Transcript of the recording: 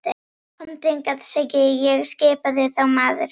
Komdu hingað, segi ég skipaði þá maðurinn.